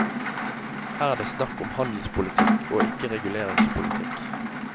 Her er det snakk om handelspolitikk og ikke reguleringspolitikk.